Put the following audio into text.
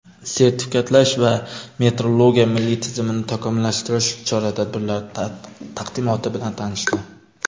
sertifikatlash va metrologiya milliy tizimini takomillashtirish chora-tadbirlari taqdimoti bilan tanishdi.